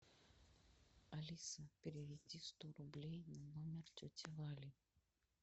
алиса переведи сто рублей на номер тети вали